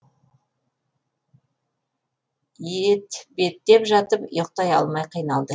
етбеттеп жатып ұйықтай алмай қиналды